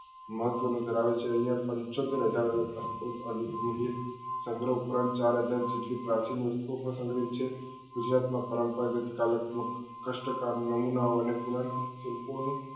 મજુરી કરાવે છે અહિયાં પંચોતેર હજાર સંગ્રહ ઉપરાંત ચાર હજાર જેટલી પ્રાચીન વસ્તુઓ પણ સંગ્રહિત છે ગુજરાત માં પરંપરાગત કાલ્ત્મક કસ્તાકામ નમુના ઓ અને પુનાચિત સડકો નું